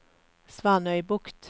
Svanøybukt